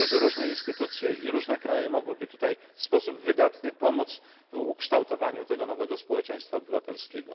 Myślę, że różne instytucje i różne kraje mogłyby tu w sposób wydatny pomóc w ukształtowaniu tego nowego społeczeństwa obywatelskiego.